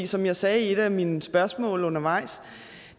som jeg sagde i et af mine spørgsmål undervejs